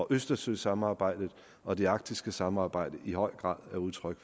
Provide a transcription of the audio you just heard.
østersøsamarbejdet og det arktiske samarbejde i høj grad er udtryk